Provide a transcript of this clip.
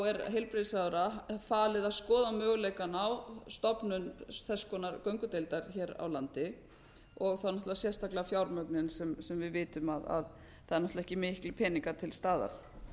er heilbrigðisráðherra falið að skoða möguleikana á stofnun þess konar göngudeildar hér á landi og þá náttúrlega sérstaklega fjármögnun þar sem við vitum að það eru ekki miklir peningar til staðar